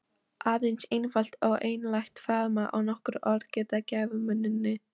Aðeins einfalt en einlægt faðmlag og nokkur orð gera gæfumuninn.